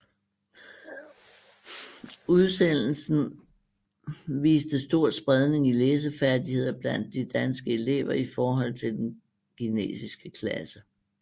Udsendelsen viste stor spredning i læsefærdigheder blandt de danske elever i forhold til den kinesiske klasse